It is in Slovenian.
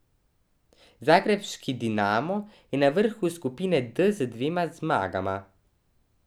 Zagrebški Dinamo je na vrhu skupine D z dvema zmagama.